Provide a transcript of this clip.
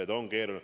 See on keeruline.